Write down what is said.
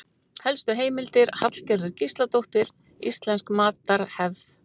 Helstu heimildir: Hallgerður Gísladóttir: Íslensk matarhefð.